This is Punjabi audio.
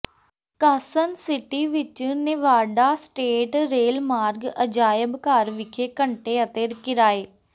ਕਾਸਸਨ ਸਿਟੀ ਵਿੱਚ ਨੇਵਾਡਾ ਸਟੇਟ ਰੇਲਮਾਰਗ ਅਜਾਇਬ ਘਰ ਵਿਖੇ ਘੰਟੇ ਅਤੇ ਕਿਰਾਏ